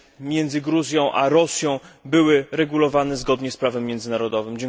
między Gruzją a Rosją były regulowane zgodnie z prawem międzynarodowym.